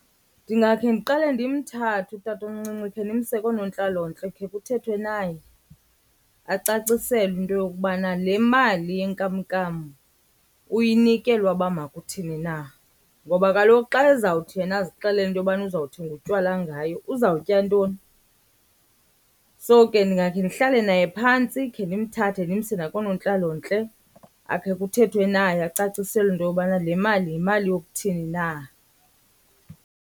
Ndingakhe ndiqale ndimthathe utatomncinci khe ndimse koonontlalontle khe kuthethwe naye acaciselwe into yokubana le mali yenkamnkam uyinikelwa uba makuthini na. Ngoba kaloku xa ezawuthi yena azixelele into yobana uzawuthenga utywala ngayo uzawutya ntoni? So ke ndingakhe ndihlale naye phantsi khe ndimthathe ndimse nakoonontlalontle akhe kuthethwe naye acaciselwe into yobana le mali yimali yokuthini na.